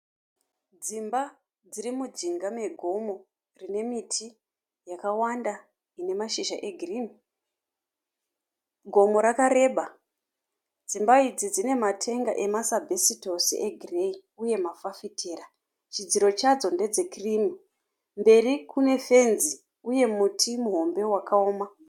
Dzimba dziri mujinga megomo rine miti yakawanda ine mashizha egirini. Gomo rakareba, dzimba idzi dzine matenga ema masabhesitosi egireyi uye mafafitera. Chidziro chadzo ndedze kirimu, mberi kune fenzi uye muti muhombe wakaoma.